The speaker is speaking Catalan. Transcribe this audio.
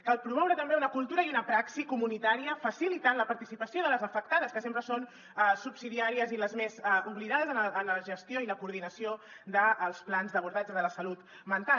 cal promoure també una cultura i una praxi comunitària facilitant la participació de les afectades que sempre són subsidiàries i les més oblidades en la gestió i la coordinació dels plans d’abordatge de la salut mental